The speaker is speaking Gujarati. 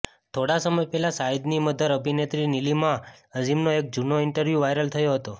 થોડા સમય પહેલા શાહિદની મધર અભિનેત્રી નિલીમા અઝીમનો એક જૂનો ઇન્ટરવ્યુ વાયરલ થયો હતો